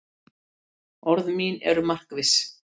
Orð mín eru markviss.